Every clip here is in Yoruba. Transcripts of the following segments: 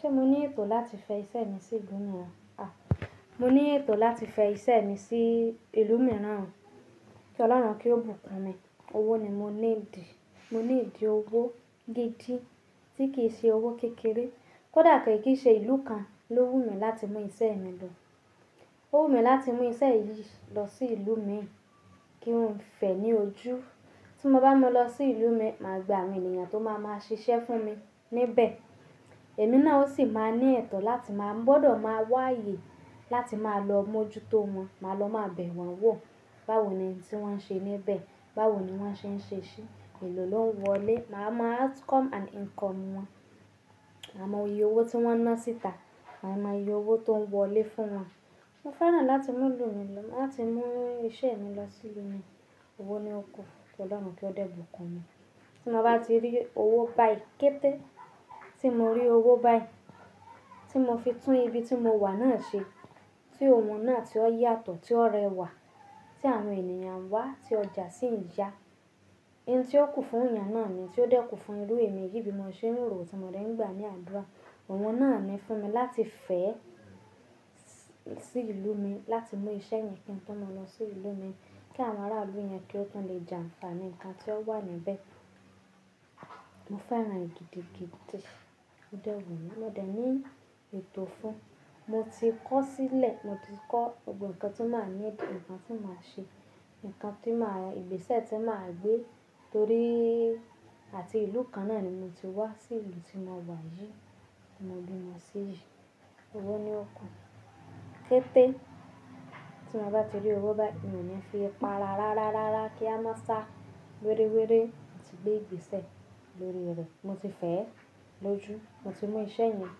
Ṣé mo ní ètò láti fẹ iṣẹ́ mi sí ìlú mìíràn? À, mo ní ètò láti fẹ iṣẹ́ mi sí ìlú mìíràn, kí Ọlọ́run kí ó bùkún mi. Owó ni mo níidì, mo níidí owó gidi tí kì í ṣe owó kékeré. Kódà ko ki í ṣe ìlú kan ló wù mí láti mú iṣẹ́ mi lọ. Ó wù mí láti mú iṣẹ́ yìí lọ sí ìlú mi, kí n fẹ ní ojú. Tí mo bá mú lọ sí ìlú mi, màá gba àwọn ènìyàn tó máa ma ṣiṣẹ́ fún mi níbẹ̀. Ẹ̀mí náà ó sì máa ní ètò láti máa gbọdọ̀ máa wá aayè láti máa lọ mójútó wọn. Màá lọ máa bẹ̀ wọ́n wò báwo ni ountí wọ́n ṣe níbẹ̀, báwo ni wọ́n ṣe ń ṣe ṣí, èló ló ń wọlé. Mà á mọ outcome and income wọn. Máa mọ iye owó tí wọ́n ń ná síta, máa mọ iye owó tó ń wọlé fún wọn. Mo fẹ́ràn láti mú ìlú mi lọ, láti mú iṣẹ́ mi lọ sí ìlú mi. Owó ni ó kú kí Ọlọ́run kí ó dẹ̀ bùkún mi. Tí mo bá ti rí owó báì kété tí mo rí owó báì tí mo fi tún ibi tí mo wà náà ṣe, tí oun náà tí ó yàtọ̀, tí ó rẹwà, tí àwọn ènìyàn n wa tí ọjà sì ń ya. Oun tí ó kù fún ẹ̀yàn náà ni tí ó dẹ́kù fún irú èmi yìí bí mo ṣe ń rò ó tí mo dẹ̀ ń gbà ní àdúrà. Oun náà ni fún mi láti fẹ́ sí ìlú mi láti mú iṣẹ́ yẹn kí n tó máa lọ sí ìlú mi kí àwọn ará ìlú yẹn kí ó tún lè jànfaani nǹkan tí ó wà níbẹ̀. Mo fẹ́ran e gidi, gidi. Ó dẹ́ wunmi, mo dẹ̀ ní ètò fún un. Mo ti kọ̀ sílẹ̀, mo ti kọ́ gbogbo nkan tí màá need, ǹkan tí màá ṣe, ǹkan tí màá, ìgbésẹ̀ tí màá gbé torí àti ìlú kan náà ni mo ti wá sí ìlú tí mo wà yìí tí mo bí mo sí yìí. Owó ni ó kú kété tí mo bá ti rí owó báì, mo ní fí para rárárá kí a má sá wéré wéré. Mo ti gbé ìgbésẹ̀ lórí rẹ̀. Mo ti fẹ́ ẹ lójú. Mo ti mú iṣẹ́ yẹn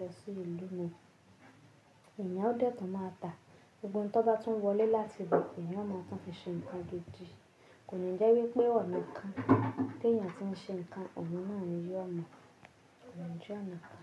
lọ sí ìlú mi. Eẹ̀yàn ó dẹ́ẹ̀ tun máa tà, gbogbo ohun tó bá tún wọlé láti ibẹ̀, eẹ̀yàn máa tún fi ṣe ǹkan gidi. Kò ni je wípé ọ̀nà kan tí ènìyàn tí ń ṣe ǹkan, ọ̀nà náà ni yóò mọ̀, òún jẹ́ ọ̀nà kan.